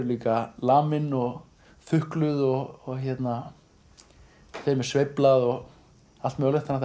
líka lamin og og þukluð þeim er sveiflað og allt mögulegt þannig